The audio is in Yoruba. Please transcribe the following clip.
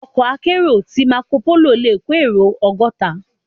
Òkò àkèéró ti màkópóló lé kó éró ògòtá